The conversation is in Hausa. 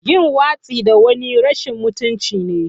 Yin watsi da wani rashin mutunci ne.